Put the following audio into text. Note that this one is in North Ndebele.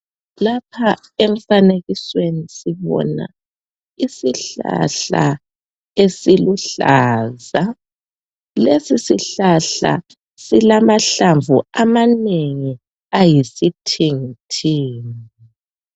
lapha emfanekisweni sibona isihlahla esiluhlaza lesi sihlahla silamahlamvu amanengi ayisithingithingi